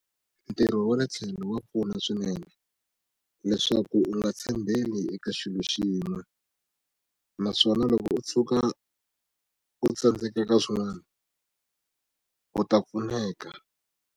Ntirho wa le tlhelo wa pfuna swinene leswaku u nga tshembeli eka xilo xin'we naswona loko u tshuka u tsandzeka ka swin'wana u ta pfuneka.